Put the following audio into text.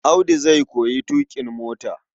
Audu zai koyi tuƙin mota.